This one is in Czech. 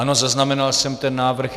Ano, zaznamenal jsem ten návrh.